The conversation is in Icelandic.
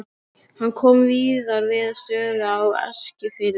Hann kom víðar við sögu á Eskifirði.